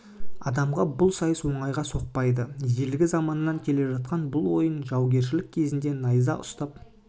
адамға бұл сайыс оңайға соқпайды ежелгі заманнан келе жатқан бұл ойын жаугершілік кезінде найза ұстап